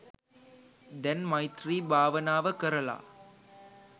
දැන් මෛත්‍රී භාවනාව කරලා